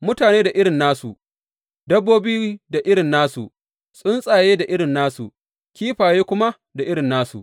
Mutane da irin nasu, dabbobi da irin nasu, tsuntsaye da irin nasu, kifaye kuma da irin nasu.